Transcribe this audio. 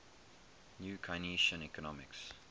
new keynesian economics